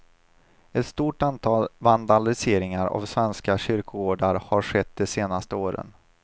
Ett stort antal vandaliseringar av svenska kyrkogårdar har skett det senaste året.